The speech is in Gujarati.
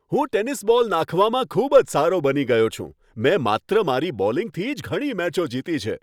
હું ટેનિસ બોલ નાંખવામાં ખૂબ જ સારો બની ગયો છું. મેં માત્ર મારી બોલિંગથી જ ઘણી મેચો જીતી છે.